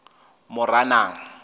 moranang